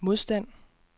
modstand